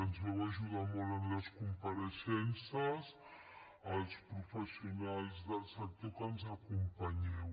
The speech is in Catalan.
ens vau ajudar molt en les compareixences als professionals del sector que ens acompanyeu